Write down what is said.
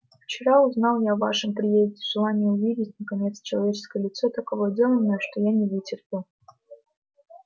вчера узнал я о вашем приезде желание увидеть наконец человеческое лицо так овладело мною что я не вытерпел